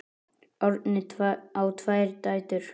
Árni á tvær dætur.